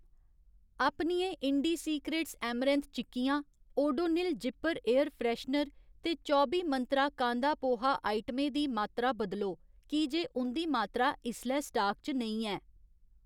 अपनियें Indie Secrets amaranth चिक्कियां, Odonil zipper air freshener ते चौबी मंत्रा कांदा पोहा आइटमें दी मात्तरा बदलो की जे उं'दी मात्तरा इसलै स्टाक च नेईं ऐ।